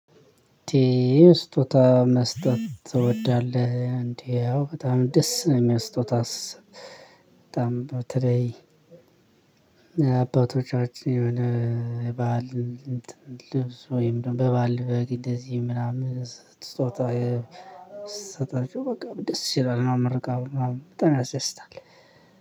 መስጠት ትወዳለህ እንዴ ያው በጣም ደስ ነው የሙለኝ ስጦታ ስሰጥ ትለይ። አባቶቻችን የሆነ በዓል ልብስ ወይም ደግሞ በባል በግ እንደዚህ ምናምን ስጦታ ስሰጣቸው በቃ ደስ ይላል ነው። ምርቃው ምናምን በጣም ያስደስታል።